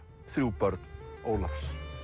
þrjú börn Ólafs